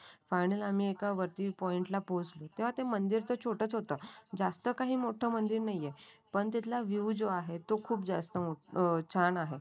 Final आम्ही वरती एका पॉईंट ला पोहोचलो. तेव्हा ते मंदिर तर छोटेच होतो. जास्त काही मोठं मंदिर नाही आहे. पण त्यातला जो व्ह्यू आहे